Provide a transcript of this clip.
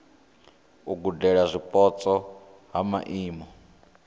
u gudela zwipotso ha maimo